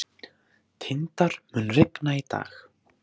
Tindar, mun rigna í dag?